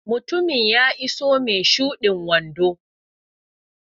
Mutumin ya iso mai shudin wando.